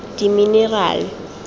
diminerale